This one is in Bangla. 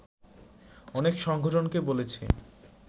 অনেক সংগঠনকে বলেছি